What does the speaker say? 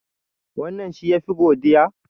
Wannan shi ya fi godiya?